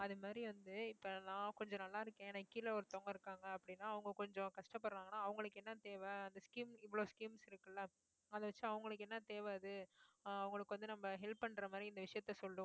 அது மாதிரி வந்து இப்ப நான் கொஞ்சம் நல்லா இருக்கேன் எனக்கு கீழ ஒருத்தவங்க இருக்காங்க அப்படின்னா அவங்க கொஞ்சம் கஷ்டப்படுறாங்கன்னா அவங்களுக்கு என்ன தேவை அந்த scheme இவ்ளோ schemes இருக்குல்ல அதை வச்சு அவங்களுக்கு என்ன தேவை அது ஆஹ் அவங்களுக்கு வந்து நம்ம help பண்ற மாதிரி இந்த விஷயத்த சொல்லுவோம்